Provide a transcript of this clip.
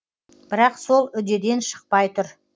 бірақ сол үдеден шықпай тұр